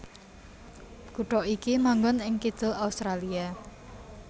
Kutha iki manggon ing kidul Australia